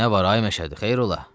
Nə var ay Məşədi, xeyir ola?